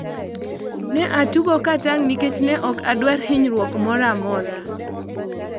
Ne atugo ka tang' nikech ne ok adwar hinyruok moro amora